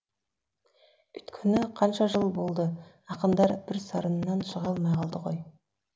өйткені қанша жыл болды ақындар бір сарыннан шыға алмай қалды ғой